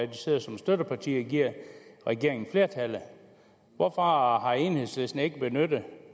de sidder som støtteparti og giver regeringen flertallet hvorfor har har enhedslisten ikke benyttet